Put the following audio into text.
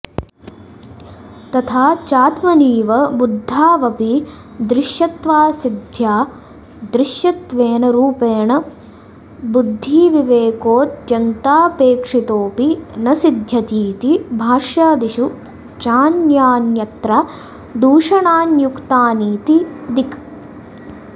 तथा चात्मनीव बुद्धावपि दृश्यत्वासिद्ध्या दृश्यत्वेन रूपेण बुद्धिविवेकोऽत्यन्तापेक्षितोऽपि न सिध्यतीति भाष्यादिषु चान्यान्यत्र दूषणान्युक्तानीति दिक्